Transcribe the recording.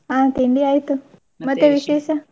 ಹಾ ತಿಂಡಿ ಆಯ್ತು. ?